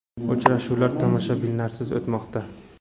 Uchrashuvlar tomoshabinlarsiz o‘tmoqda.